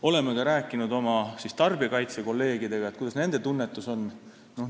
Oleme rääkinud ka oma kolleegidega tarbijakaitsest ja küsinud, kuidas nende tunnetus on.